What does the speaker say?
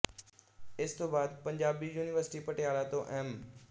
ਇਸ ਤੋਂ ਬਾਅਦ ਪੰਜਾਬੀ ਯੂਨੀਵਰਸਿਟੀ ਪਟਿਆਲਾ ਤੋਂ ਐਮ